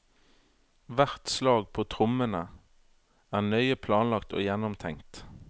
Hvert slag på trommene er nøye planlagt og gjennomtenkt.